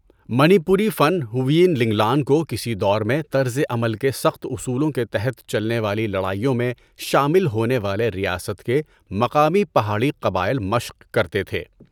منی پوری فن ہویین لینگلان کو کسی دور میں طرز عمل کے سخت اصولوں کے تحت چلنے والی لڑائیوں میں شامل ہونے والے ریاست کے مقامی پہاڑی قبائل مشق کرتے تھے۔